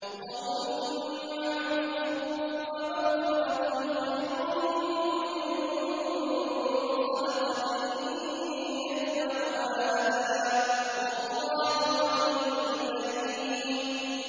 ۞ قَوْلٌ مَّعْرُوفٌ وَمَغْفِرَةٌ خَيْرٌ مِّن صَدَقَةٍ يَتْبَعُهَا أَذًى ۗ وَاللَّهُ غَنِيٌّ حَلِيمٌ